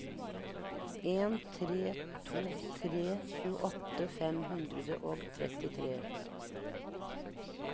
en tre to tre tjueåtte fem hundre og trettitre